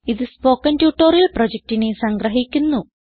ഇതു spoken tutorial പ്രൊജക്റ്റിനെ സംഗ്രഹിക്കുന്നു